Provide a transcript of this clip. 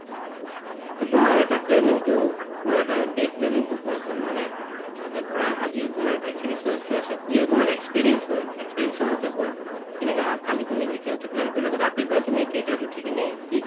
to তোমাৰ এটা planning তো মানে এটা day planning তো কোৱাচোন মানে অ ধৰা আজি তোমাৰ vaccinations তো আছিল ইয়ো তোমাৰ experience হয় experience ৰ মতে কোৱা কেনেকা হয় কালি তুমি vaccines তো plan কৰিলা to ৰাতিপুৱা তুমি কেইটাত উঠি কিনে কি